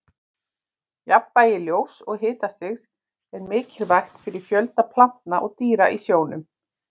jafnvægi ljóss og hitastigs er mikilvægt fyrir fjölda plantna og dýra í sjónum